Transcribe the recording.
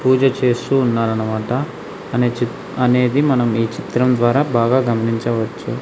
పూజ చేస్తూ ఉన్నారన్నమాట అనే చి అనేది మనం ఈ చిత్రం ద్వారా బాగా గమనించవచ్చు.